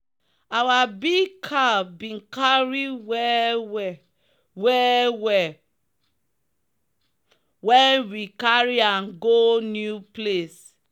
our big cow bin cary well well well well when we carry am go new place.